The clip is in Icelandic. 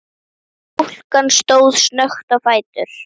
Stúlkan stóð snöggt á fætur.